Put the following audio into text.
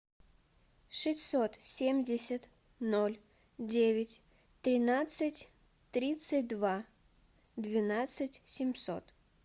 шестьсот семьдесят ноль девять тринадцать тридцать два двенадцать семьсот